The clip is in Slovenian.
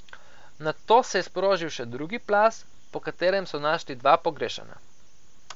Nato se je sprožil še drugi plaz, po katerem so našli dva pogrešana.